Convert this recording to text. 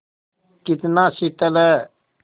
कितना शीतल है